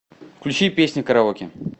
включи песня караоке